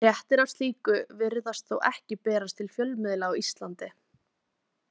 Fréttir af slíku virðast þó ekki berast til fjölmiðla á Íslandi.